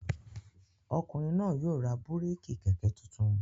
Ọkùnrin náà yóò ra búrékì kẹ̀kẹ́ tuntun.